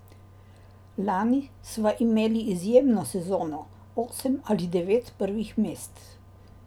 Lani sva imeli izjemno sezono, osem ali devet prvih mest.